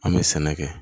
An bɛ sɛnɛ kɛ